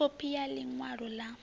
khophi ya ḽi ṅwalo ḽa